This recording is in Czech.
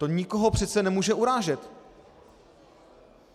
To nikoho přece nemůže urážet.